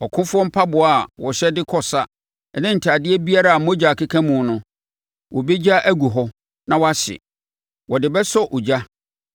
Ɔkofoɔ mpaboa a wɔhyɛ de kɔ sa ne atadeɛ biara a mogya akeka mu no wɔbɛgya agu hɔ na wɔahye. Wɔde bɛsɔ ogya.